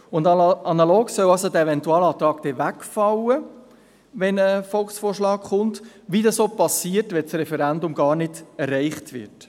Der Eventualantrag solle also analog wegfallen, wenn ein Volksvorschlag kommt, so wie dies auch geschieht, wenn das Referendum gar nicht erreicht wird.